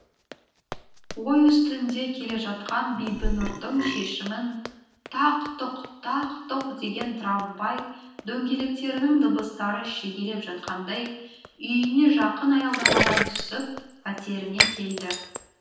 ой үстінде келе жатқан бибінұрдың шешімін тақ тұқ тақ тұқ деген трамвай дөңгелектерінің дыбыстары шегелеп жатқандай үйіне жақын аялдамадан түсіп пәтеріне келді